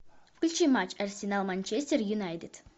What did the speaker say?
включи матч арсенал манчестер юнайтед